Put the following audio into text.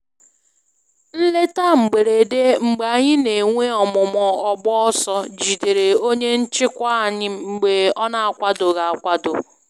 Nleta mberede mgbe anyị n'enwe ọmụmụ ọgbọ-ọsọ jidere onye nchịkwa anyị mgbe ọ na akwadoghi akwado